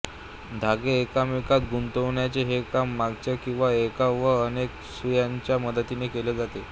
धागे एकमेकांत गुंतविण्याचे हे काम मागाच्या किंवा एका वा अनेक सुयांच्या मदतीने केले जाते